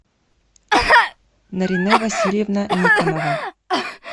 нарине васильевна никонова